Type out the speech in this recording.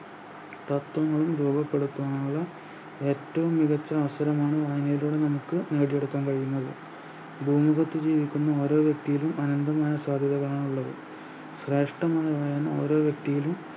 തത്വങ്ങളും രൂപപ്പെടുത്തുന്നത് ഏറ്റവും മികച്ച അവസരങ്ങളിലാണ് അത് നമുക്ക് നേടിയെടുക്കാൻ കഴിയുന്നത് ഭൂമുഖത്ത് ജീവിക്കുന്ന ഓരോ വ്യക്തിയിലും അനന്തമായ സാധ്യതകളാണ് ഉള്ളത് ശ്രേഷ്ഠമായ ഓരോ വ്യക്തിയിലും